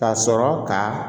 Ka sɔrɔ ka